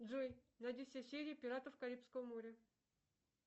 джой найди все серии пиратов карибского моря